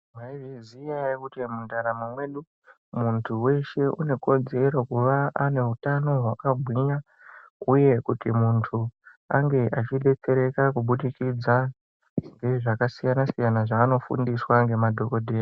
Mwai zviziya ere kuti mu ndaramo medu muntu weshe une kodzero kuva ane hutano hwaka gwinya uye kuti muntu ange achi detsereka ku budikidza nge zvaka siyana siyana zvano fundiswa nge madhokodheya.